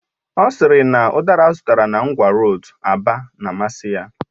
Ọ sịrị na udara azụtara na ngwa roodu Aba na amasị ya